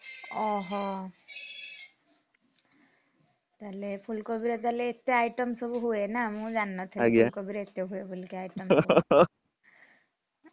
ଓହୋ ତାହେଲେ ଫୁଲକୋବିର ତାହେଲେ ଏତେ item ସବୁ ହୁଏ ନା ମୁଁ ଜାଣିନଥିଲି କୋବିରେ ଏତେ item ହୁଏ ବୋଲିକି item ସବୁ ।